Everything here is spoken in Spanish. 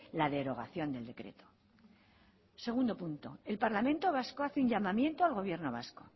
la derogación del decreto segundo punto el parlamento vasco hace un llamamiento al gobierno vasco